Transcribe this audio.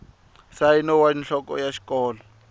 nsayino wa nhloko ya xikolo